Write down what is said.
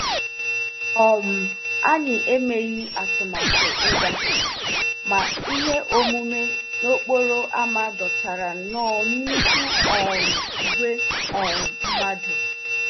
um Anyị emeghị atụmatụ ịga, ma ihe omume n'okporo ámá dọtara nnọọ nnukwu um ìgwè um mmadụ